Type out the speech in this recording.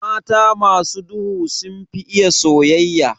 Mata masu duhu sunfi iya soyayya.